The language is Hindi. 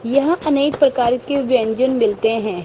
यहां अनेक प्रकार के व्यंजन मिलते हैं।